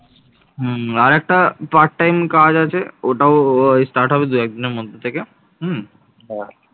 হুম আর একটা part time কাজ আছে ওটাও আহ start হবে দু এক দিনের মধ্যে থেকে হম